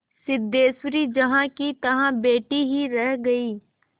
सिद्धेश्वरी जहाँकीतहाँ बैठी ही रह गई